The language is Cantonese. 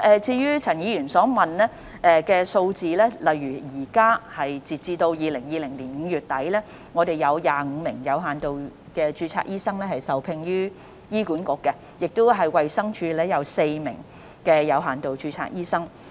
就陳議員所詢問的數字，截至2020年5月底，有25名有限度註冊醫生受聘於醫管局，衞生署則有4名有限度註冊醫生。